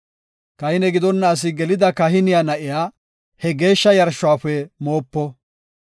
Kahine gidonna asi gelida kahiniya na7iya he geeshsha yarshuwafe moopo.